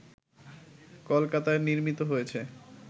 কলকাতায় নির্মিত হয়েছে